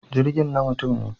Jirgin na mutum ne.